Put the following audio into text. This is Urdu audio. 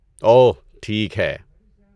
اوہ! ٹھیک ہے